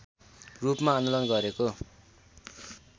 रूपमा आन्दोलन गरेको